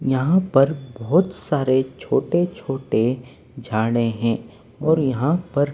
यहां पर बहुत सारे छोटे-छोटे झाड़े हैं और यहां पर--